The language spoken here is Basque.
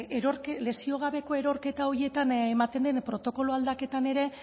lesio gabeko erorketa horietan ematen den protokolo aldaketan ere